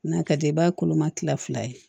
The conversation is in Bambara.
N'a ka di i b'a koloma kila fila ye